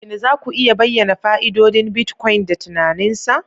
Shin za ku iya bayyana fa'idodin Bitcoin da tunanin sa?